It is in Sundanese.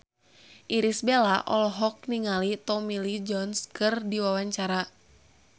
Irish Bella olohok ningali Tommy Lee Jones keur diwawancara